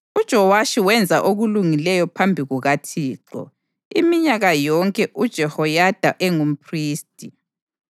UJowashi wenza okulungileyo phambi kukaThixo iminyaka yonke uJehoyada engumphristi.